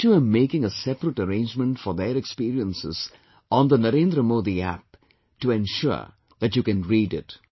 I too am making a separate arrangement for their experiences on the Narendra Modi App to ensure that you can read it